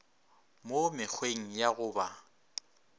mo mekgweng ya go ba